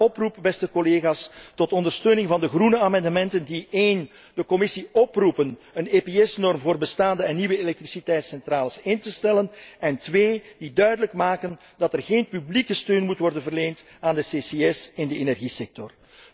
Daarom een oproep, beste collega's, tot ondersteuning van de groene amendementen die 1 de Commissie oproepen een EPS norm voor bestaande en nieuwe elektriciteitscentrales in te stellen, en 2 die duidelijk maken dat er geen publieke steun moet worden verleend aan de CCS in de energiesector.